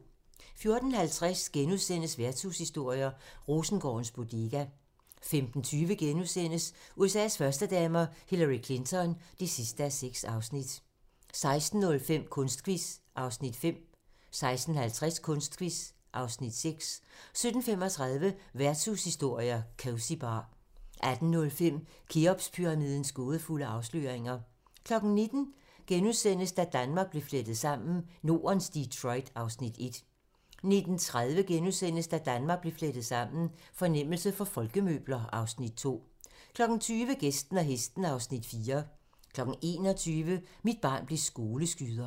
14:50: Værtshushistorier: Rosengårdens Bodega * 15:20: USA's førstedamer - Hillary Clinton (6:6)* 16:05: Kunstquiz (Afs. 5) 16:50: Kunstquiz (Afs. 6) 17:35: Værtshushistorier: Cosy Bar 18:05: Kheopspyramidens gådefulde afsløringer 19:00: Da Danmark blev flettet sammen: Nordens Detroit (Afs. 1)* 19:30: Da Danmark blev flettet sammen: Fornemmelse for folkemøbler (Afs. 2)* 20:00: Gæsten og hesten (Afs. 4) 21:00: Mit barn blev skoleskyder